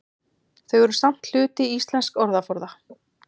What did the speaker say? Þau eru samt hluti íslensks orðaforða.